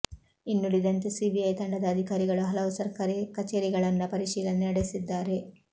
ಇನ್ನುಳಿದಂತೆ CBI ತಂಡದ ಅಧೀಕಾರಿಗಳು ಹಲವು ಸರ್ಕಾರಿ ಕಚೇರಿಗಳನ್ನ ಪರಿಶೀಲನೆ ನಡೆಸಿದ್ದಾರೆ